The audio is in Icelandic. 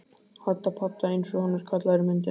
Hadda padda einsog hann er kallaður í myndinni.